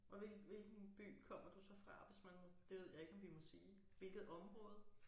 Og hvilken by kommer du så fra hvis man må det ved jeg ikke om vi må sige. Hvilket område?